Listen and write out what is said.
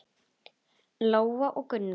Lóa og Gunnar.